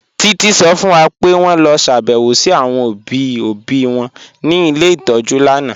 Títí sọ fún wà pé wọn lọ ṣàbẹ̀wọ̀ sí àwọn obì obì wọn ní ilẹ̀ itọ́jú lànà